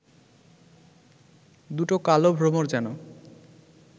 দুটো কালো ভ্রমর যেন